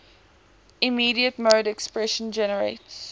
immediate mode expression generates